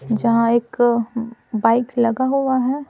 जहाँ एक बाइक लगा हुआ है।